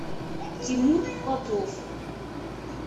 тимур попов